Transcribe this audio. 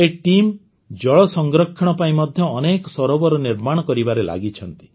ଏହି ଟିମ୍ ଜଳ ସଂରକ୍ଷଣ ପାଇଁ ମଧ୍ୟ ଅନେକ ସରୋବର ନିର୍ମାଣ କରିବାରେ ଲାଗିଛନ୍ତି